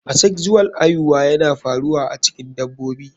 Asexual aihuwa yana faruwa a cikin dabobi.